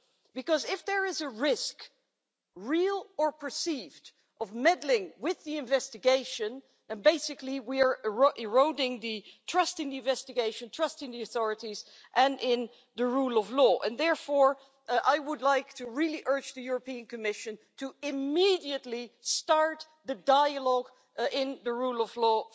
because if there is a risk real or perceived of meddling with the investigation, basically we are eroding trust in the investigation, trust in the authorities and trust in the rule of law. Therefore, I would like to really urge the European Commission to immediately start the dialogue in the framework of the rule of law,